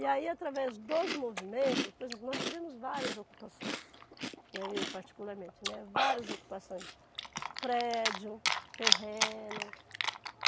E aí através dos movimentos, por exemplo, nós tivemos várias ocupações, né, e eu particularmente, né, várias ocupações, prédio, terreno.